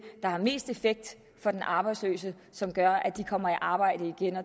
der har mest effekt for de arbejdsløse og som gør at de kommer i arbejde igen